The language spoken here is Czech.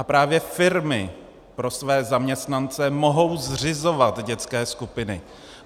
A právě firmy pro své zaměstnance mohou zřizovat dětské skupiny.